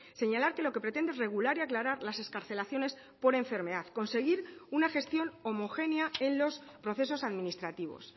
señalar que lo que pretende es regular y aclarar las excarcelaciones por enfermedad conseguir una gestión homogénea en los procesos administrativos